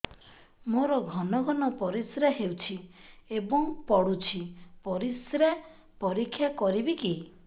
ମୋର ଘନ ଘନ ପରିସ୍ରା ହେଉଛି ଏବଂ ପଡ଼ୁଛି ପରିସ୍ରା ପରୀକ୍ଷା କରିବିକି